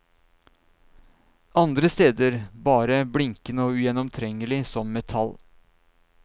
Andre steder bare blinkende og ugjennomtrengelig som metall.